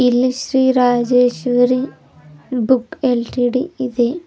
ಇಲ್ಲಿ Shri Rajeshwari book L T D ಇದೆ.